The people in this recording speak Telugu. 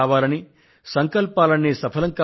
ప్రియమైన నా దేశ వాసులారా